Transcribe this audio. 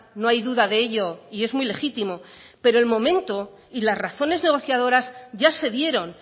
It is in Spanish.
no hay duda de ello y es muy legítimo pero el momento y las razones negociadoras ya se dieron